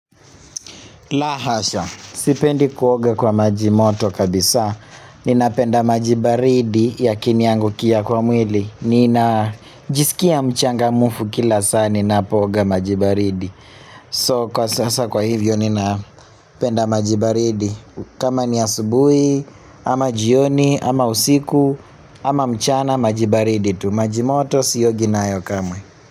La hasha. Sipendi kuoga kwa majimoto kabisa. Ninapenda maji baridi ya kiniangukia kwa mwili. Nina jisikia mchangamufu kila saa. Ninapooga maji baridi. So kwa sasa kwa hivyo ninapenda maji baridi. Kama ni asubui, ama jioni, ama usiku, ama mchana majibaridi tu. Majimoto siogi nayo kamwe.